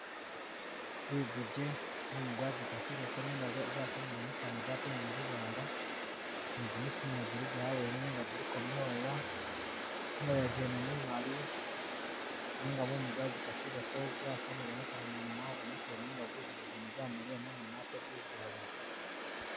Ligugye mumu gwagikasileko nenga gwasamile mukanwa gwatelemo lulwala, nigimisu naye giliga awene nenga kuliko myoya, myoya jene mimali nenga mumu gwajikasileko gwasamile mukanwa mwene mwabonekele nenga gugugye gwene gwamaliya mumoni ate gugali.